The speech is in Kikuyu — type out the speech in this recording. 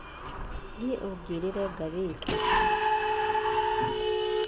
Thiĩ ũngũrĩre ngathĩti.